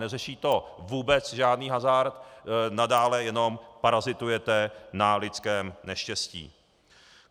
Neřeší to vůbec žádný hazard, nadále jenom parazitujete na lidském neštěstí.